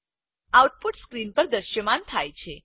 output screen ઉપર દ્રશ્યમાન થાય છે